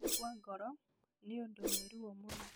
Gũkua ngoro nĩ ũndũ wĩ ruo mũno.